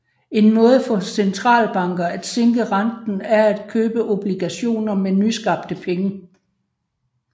En måde for centralbanker at sænke renten er at købe obligationer med nyskabte penge